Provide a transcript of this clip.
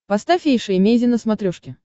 поставь эйша эмейзин на смотрешке